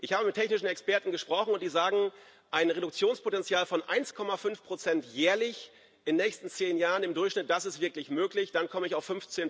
Ich habe mit technischen Experten gesprochen, die sagen Ein Reduktionspotenzial von 1,5 jährlich in den nächsten zehn Jahren im Durchschnitt, das ist wirklich möglich. Dann komme ich auf